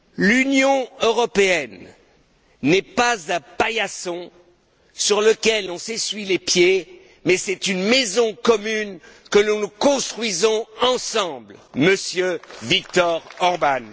L'Union européenne n'est pas un paillasson sur lequel on s'essuie les pieds, mais une maison commune que nous construisons ensemble, Monsieur Viktor Orbán.